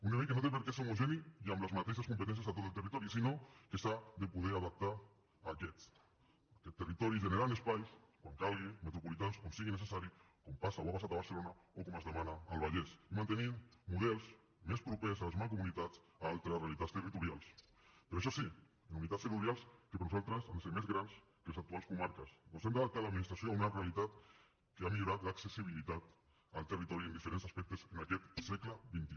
un nivell que no té perquè ser homogeni i amb les mateixes competències a tot el territori sinó que s’ha de poder adaptar a aquest territori generant espais quan calgui metropolitans on sigui necessari com passa o ha passat a barcelona o com es demana al vallès i mantenint models més propers a les mancomunitats a altres realitats territorials però això sí en unitats territorials que per nosaltres han de ser més grans que les actuals comarques ja que hem d’adaptar l’administració a una realitat que ha millorat l’accessibilitat al territori en diferents aspectes en aquest segle xxi